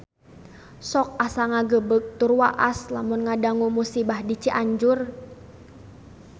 Sok asa ngagebeg tur waas lamun ngadangu musibah di Cianjur